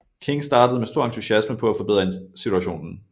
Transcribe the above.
King startede med stor entusiasme på at forbedre situationen